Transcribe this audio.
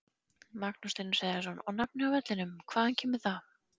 Magnús Hlynur Hreiðarsson: Og nafnið á vellinum, hvaðan kemur það?